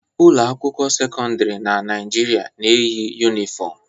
Ụlọ akwụkwọ sekọndrị na Naịjirịa na-eyi yunifom